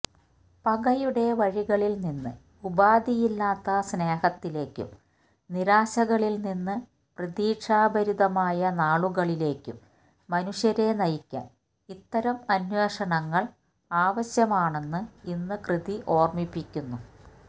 പകയുടെ വഴികളിൽനിന്ന് ഉപാധിയില്ലാത്ത സ്നേഹത്തിലേക്കും നിരാശകളിൽനിന്ന് പ്രതീക്ഷാഭരിതമായ നാളുകളിലേക്കും മനുഷ്യരെ നയിക്കാൻ ഇത്തരം അന്വേഷണങ്ങൾ ആവശ്യമാണെന്ന് ഈ കൃതി ഓർമ്മിപ്പിക്കുന്നു